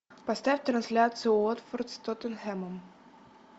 поставь трансляцию уотфорд с тоттенхэмом